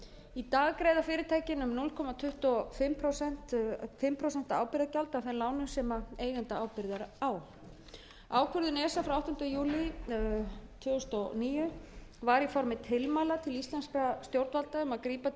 í dag greiða fyrirtækin um núll komma tuttugu og fimm prósent ábyrgðargjald af þeim lánum sem eigendaábyrgð er á ákvörðun esa frá áttunda júlí tvö þúsund og níu var í formi tilmæla til íslenskra stjórnvalda um að grípa